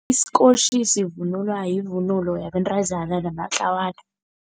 Isikotjhi sivunulwa yivunulo yabentazana namatlawana.